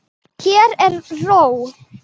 Hér er ró.